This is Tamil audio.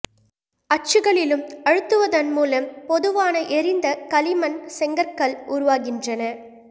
அச்சுகளிலும் அழுத்துவதன் மூலம் பொதுவான எரிந்த களிமண் செங்கற்கள் உருவாகின்றன